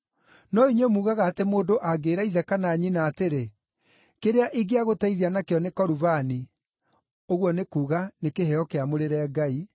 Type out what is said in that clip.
No inyuĩ muugaga atĩ mũndũ angĩĩra ithe kana nyina atĩrĩ, ‘Kĩrĩa ingĩagũteithia nakĩo nĩ Korubani’ (ũguo nĩ kuuga, nĩ kĩheo kĩamũrĩre Ngai),